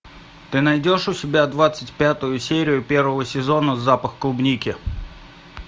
ты найдешь у себя двадцать пятую серию первого сезона запах клубники